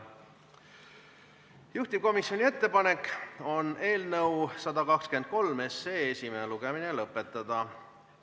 Juhtivkomisjoni ettepanek on eelnõu 123 esimene lugemine lõpetada.